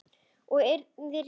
Ég yrði rekin.